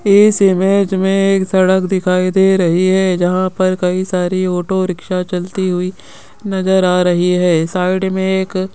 इस इमेज में एक सड़क दिखाई दे रही है जहां पर कई सारी ऑटो रिक्शा चलती हुई नजर आ रही है साइड में एक --